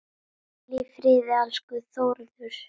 Hvíl í friði, elsku Þórður.